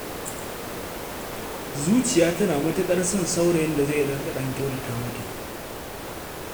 Zuciya tana matuƙar son masoyin da zai riƙa ɗan kyautata mata.